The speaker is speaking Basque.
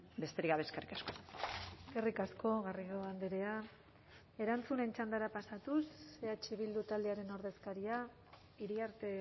besterik gabe eskerrik asko eskerrik asko garrido andrea erantzunen txandara pasatuz eh bildu taldearen ordezkaria iriarte